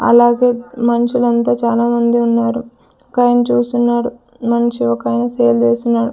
అలాగే మన్షులంతా చానా మంది ఉన్నారు ఒకాయన చూస్తున్నాడు మన్షి ఒకాయన సేల్ చేస్తున్నాడు.